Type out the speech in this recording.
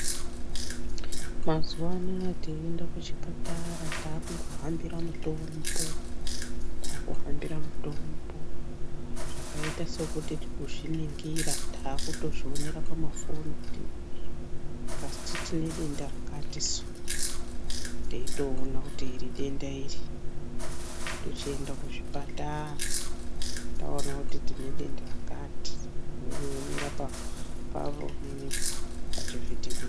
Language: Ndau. Mazuwa anaya teiende kuchipatara taakuhambira mutombo ,taakuhambira mutombo zvakaita sekuti kuzviningira taakutozvionera pamafoni kuti iya kasi tinedenda rakati su, teitoiona kuti iri denda iri tochienda kuzvipatara taona kuti tine denda rakati woonera paoninipo pachivhivhiti...